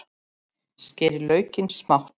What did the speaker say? Skerið laukinn smátt.